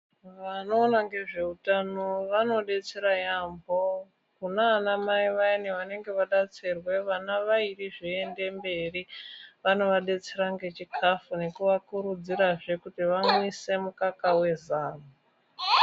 Vanoona ngezveutano vanodetsera yaambo kunaana mai vayani vanenge vadetserwe vana vairi zveiende mberi. Vanovadetsera ngechikafu ngekuvakurudzirazve kuti vayamwise mukaka wezamu.